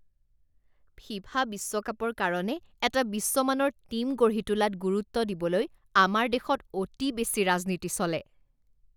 FIFA বিশ্বকাপৰ কাৰণে এটা বিশ্বমানৰ টীম গঢ়ি তোলাত গুৰুত্ব দিবলৈ আমাৰ দেশত অতি বেছি ৰাজনীতি চলে।